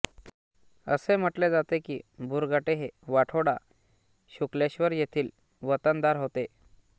असे म्हटले जाते की बुरघाटे हे वाठोडा शुकलेश्वर येथील वतनदार होते